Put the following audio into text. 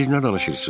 Siz nə danışırsınız?